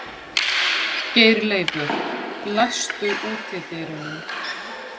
Geirleifur, læstu útidyrunum.